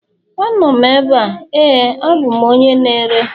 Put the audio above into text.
Anọ m ebe a, ,Éè abụ m onye na-ere